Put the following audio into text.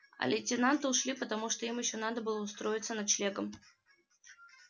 а лейтенанты ушли потому что им ещё надо было устроиться с ночлегом